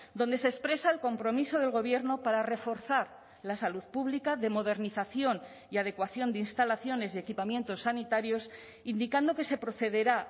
donde se expresa el compromiso del gobierno para reforzar la salud pública de modernización y adecuación de instalaciones y equipamientos sanitarios indicando que se procederá